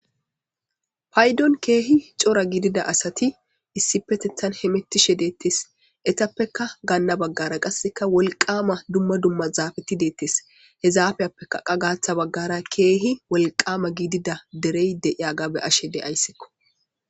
paydon keehi cora gidida asati issi petethan hemettishe deettes etappeka gaanna baggara qasseka wolqama dumma dumma zaabeti deettes hezaafiyappekaqa gaaththa baggara keehi wolqama gidida derey deiya gabe ashe de ayssekko